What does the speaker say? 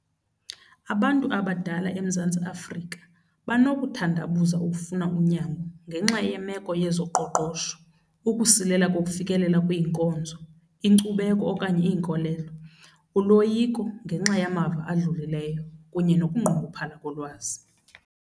Abantu abadala eMzantsi Afrika banokuthandabuza ukufuna unyango ngenxa yemeko yezoqoqosho, ukusilela kokufikelela kwiinkonzo, inkcubeko okanye iinkolelo, uloyiko ngenxa yamava adlulileyo kunye nokunqongophala kolwazi.